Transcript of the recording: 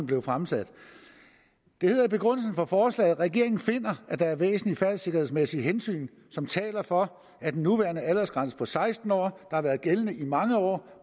blevet fremsat det hedder i begrundelsen for forslaget at regeringen finder at der er væsentlige færdselssikkerhedsmæssige hensyn som taler for at den nuværende aldersgrænse på seksten år har været gældende i mange år